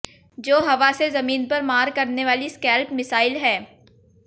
जो हवा से जमीन पर मार करने वाली स्कैल्प मिसाइल है